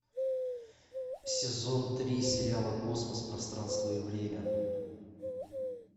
сезон три сериала космос пространство и время